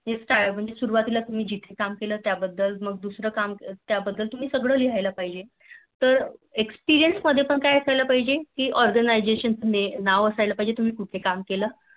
म्हणजे सुरवातीला तुम्ही जिथे काम केलं त्या बद्द्ल मग दुसरं या केलं त्या बदल Experience मध्ये पण काय असायला पाहिजे कि organisation नाव असायला पाहिजे कि तुम्ही कुठं काम केले